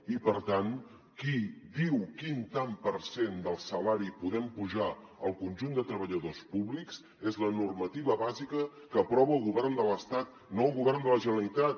i per tant qui diu quin tant per cent del salari podem apujar al conjunt de treballadors públics és la normativa bàsica que aprova el govern de l’estat no el govern de la generalitat